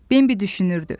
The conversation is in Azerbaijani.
Bembi düşünürdü.